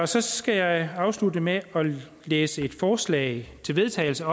så skal jeg afslutte med at læse et forslag til vedtagelse